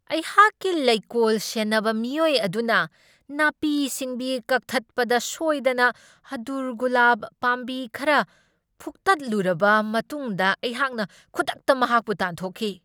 ꯑꯩꯍꯥꯛꯀꯤ ꯂꯩꯀꯣꯜ ꯁꯦꯟꯅꯕ ꯃꯤꯑꯣꯏ ꯑꯗꯨꯅ ꯅꯥꯄꯤ ꯁꯤꯡꯕꯤ ꯀꯛꯊꯠꯄꯗ ꯁꯣꯏꯗꯅ ꯑꯗꯨꯔꯒꯨꯂꯥꯞ ꯄꯥꯝꯕꯤ ꯈꯔ ꯐꯨꯛꯇꯠꯂꯨꯔꯕ ꯃꯇꯨꯡꯗ ꯑꯩꯍꯥꯛꯅ ꯈꯨꯗꯛꯇ ꯃꯍꯥꯛꯄꯨ ꯇꯥꯟꯊꯣꯛꯈꯤ꯫